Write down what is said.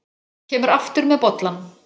Kemur aftur með bollann.